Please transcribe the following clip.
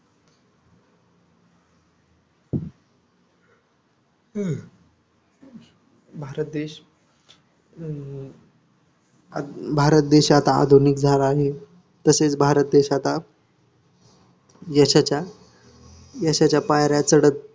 भारत देश हम्म भारत देश हा आता आधुनिक झाला आहे तसेच भारत देश आता यशाच्या पायऱ्या चढत